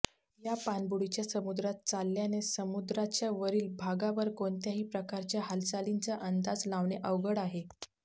या पाणबुडीच्या समुद्रात चालल्याने समुद्राच्यावरील भागावर कोणत्याही प्रकारच्या हालचालींचा अंदाज लावणे अवघड आहे